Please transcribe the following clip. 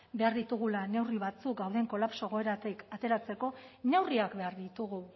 behar ditugula neurri batzuk gauden kolapso egoeratik ateratzeko neurriak behar ditugu